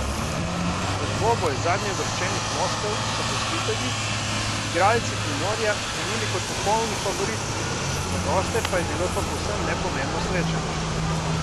V dvoboj zadnjeuvrščenih moštev so gostitelji, igralci Primorja, krenili kot popolni favoriti, za goste pa je bilo to povsem nepomembno srečanje.